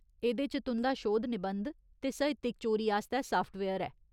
एह्दे च तुं'दा शोध निबंध ते साहित्यक चोरी आस्तै साफ्टवेयर ऐ।